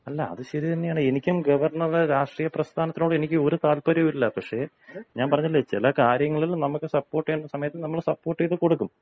അല്ല അത് ശരി തന്നെയാണ്. എനിക്കും ഗവർണറുടെ രാഷ്ട്രീയ പ്രസ്ഥാനത്തോട് എനിക്ക് ഒരു താൽപര്യവുമില്ല. പക്ഷേ ഞാൻ പറഞ്ഞില്ലേ ചില കാര്യങ്ങളിൽ നമ്മൾ സപ്പോർട്ട് ചെയ്യേണ്ട സമയത്ത് നമ്മൾ സപ്പോർട്ട് ചെയ്തു കൊടുക്കും.